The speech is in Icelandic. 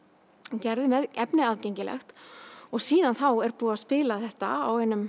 og gerði efnið aðgengilegt og síðan þá er búið að spila þetta á einum